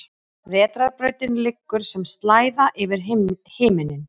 Vetrarbrautin liggur sem slæða yfir himinninn.